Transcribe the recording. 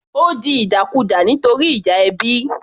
Ó di ìdàkudà nítorí ìjà ẹbí